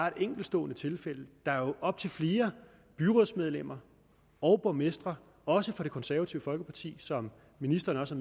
et enkeltstående tilfælde der er jo op til flere byrådsmedlemmer og borgmestre også fra det konservative folkeparti som ministeren også